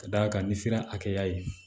Ka d'a kan n'i sera hakɛya ye